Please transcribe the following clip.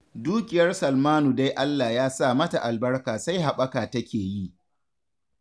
Dukiyar Salmanu dai Allah ya sa mata albarka sai haɓaka take yi